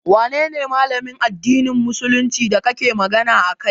Wanene Malamin addinin musuluncin da kake magana a kai?